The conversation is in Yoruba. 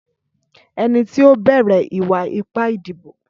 Ẹni tí ó bẹ̀rẹ̀ ìwà ipá ìdìbò